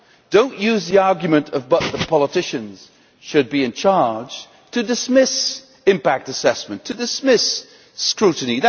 Do not use the argument that the politicians should be in charge' to dismiss impact assessment and to dismiss scrutiny.